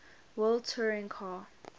world touring car